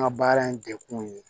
An ka baara in degun ye